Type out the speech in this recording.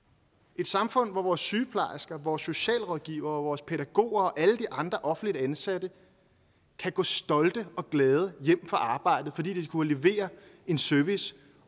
et samfund hvor vores sygeplejersker vores socialrådgivere og vores pædagoger og alle de andre offentligt ansatte kan gå stolte og glade hjem fra arbejdet fordi de har kunnet levere en service